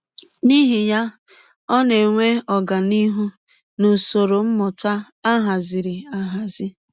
N’ihi ya, ọ na - enwe ọganihụ n’usọrọ mmụta a hazịrị ahazi.